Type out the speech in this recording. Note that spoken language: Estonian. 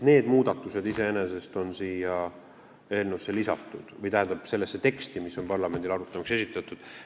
Need muudatused on lisatud siia eelnõusse või sellesse teksti, mis on parlamendile arutamiseks esitatud.